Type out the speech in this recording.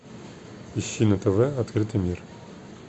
ищи на тв открытый мир